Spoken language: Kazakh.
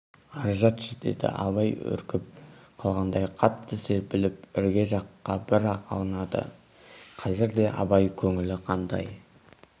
ар жатшы деді абай үркіп қалғандай қатты серпіліп ірге жаққа бір-ақ аунады қазірде абай көңілі қандай